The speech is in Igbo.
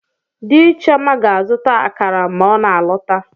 Di Chioma ga-azụta akara ma ọ na-alọta.